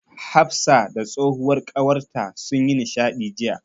Hafsa da tsohuwar ƙawarta sun yi nishaɗi jiya.